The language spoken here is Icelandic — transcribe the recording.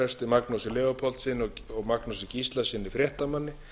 fangelsispresti magnúsi leópoldssyni og magnúsi gíslasyni fréttamanni